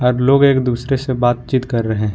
हर लोग एक दूसरे से बातचीत कर रहे हैं।